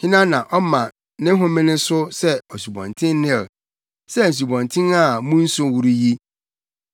“Hena, na ɔma ne homene so sɛ Asubɔnten Nil, sɛ nsubɔnten a mu nsu woro yi?